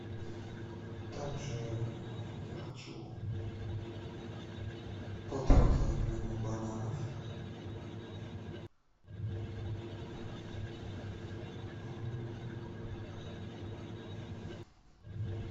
также я хочу полтора килограмма бананов